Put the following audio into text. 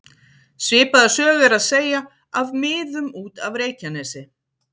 Svipaða sögu er að segja af miðum út af Reykjanesi.